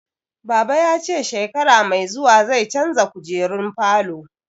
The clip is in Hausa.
Baba ya ce shekara mai zuwa zai canza kujerun falo